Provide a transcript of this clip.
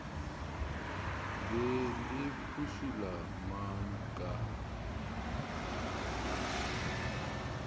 be le phušula mang ka